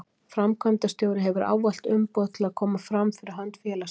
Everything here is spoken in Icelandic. Framkvæmdastjóri hefur ávallt umboð til að koma fram fyrir hönd félagsins.